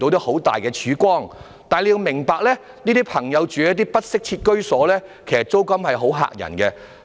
可是，政府要明白，這些人士所租住的不適切居所的租金十分嚇人。